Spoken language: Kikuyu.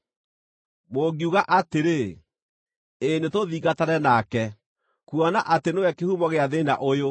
“Mũngiuga atĩrĩ, ‘Ĩ nĩtũthingatane nake, kuona atĩ nĩwe kĩhumo gĩa thĩĩna ũyũ,’